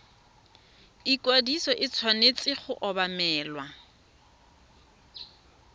ikwadiso e tshwanetse go obamelwa